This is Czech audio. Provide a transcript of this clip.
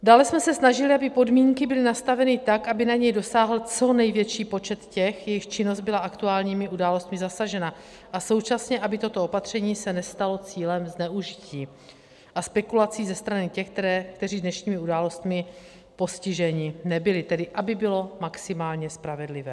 Dále jsme se snažili, aby podmínky byly nastaveny tak, aby na ně dosáhl co největší počet těch, jejichž činnost byla aktuálními událostmi zasažena, a současně aby toto opatření se nestalo cílem zneužití a spekulací ze strany těch, kteří dnešními událostmi postiženi nebyli, tedy aby bylo maximálně spravedlivé.